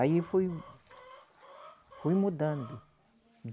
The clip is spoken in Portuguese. Aí fui, fui mudando.